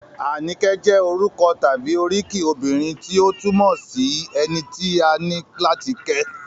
Àníkẹ́ jẹ́ orúkọ tàbí oríkì obìnrin tí ó túmọ̀ sí - ẹni tí a ní láti kẹ́